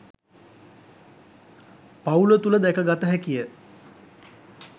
පවුල තුළ දැකගත හැකි ය.